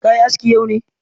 Ka yi aski yau ne?